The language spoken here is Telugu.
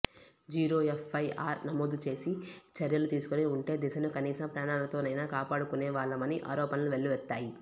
జీరో ఎఫ్ఐఆర్ నమోదు చేసి చర్యలు తీసుకుని ఉంటే దిశను కనీసం ప్రాణాలతోనైనా కాపాడుకునేవాళ్లమని ఆరోపణలు వెల్లువెత్తాయి